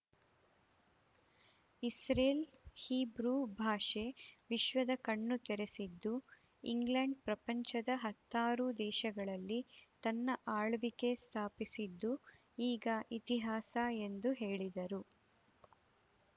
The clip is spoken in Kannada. ಇಸ್ರೇಲ್‌ ಹೀಬ್ರೂ ಭಾಷೆ ವಿಶ್ವದ ಕಣ್ಣು ತೆರೆಸಿದ್ದು ಇಂಗ್ಲೆಂಡ್‌ ಪ್ರಪಂಚದ ಹತ್ತಾರು ದೇಶಗಳಲ್ಲಿ ತನ್ನ ಆಳ್ವಿಕೆ ಸ್ಥಾಪಿಸಿದ್ದು ಈಗ ಇತಿಹಾಸ ಎಂದು ಹೇಳಿದರು